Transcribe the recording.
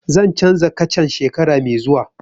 Zan canza kacan shekara mai zuwa